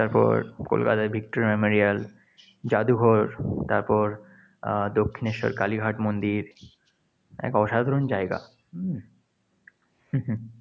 তারপর কলকাতার victoria memorial জাদুঘর, তারপর আহ দক্ষিণেশ্বর কালিঘাট মন্দির এক অসাধারণ জায়গা।